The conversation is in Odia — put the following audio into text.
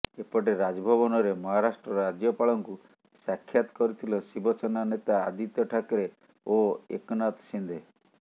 ଏପଟେ ରାଜଭବନରେ ମହାରାଷ୍ଟ୍ର ରାଜ୍ୟପାଳଙ୍କୁ ସାକ୍ଷାତ କରିଥିଲେ ଶିବସେନା ନେତା ଆଦିତ୍ୟ ଠାକରେ ଓ ଏକନାଥ ସିନ୍ଦେ